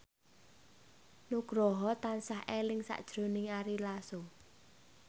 Nugroho tansah eling sakjroning Ari Lasso